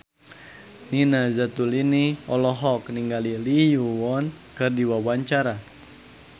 Nina Zatulini olohok ningali Lee Yo Won keur diwawancara